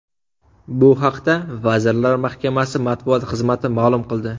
Bu haqda Vazirlar Mahkamasi matbuot xizmati ma’lum qildi .